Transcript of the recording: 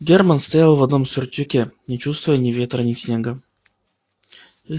германн стоял в одном сюртуке не чувствуя ни ветра ни снега